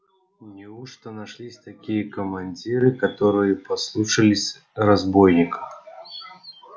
неужто нашлись такие командиры которые послушались разбойника